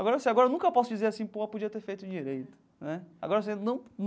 Agora sim agora eu nunca posso dizer assim, pô, podia ter feito direito né agora.